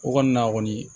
O kɔni na kɔni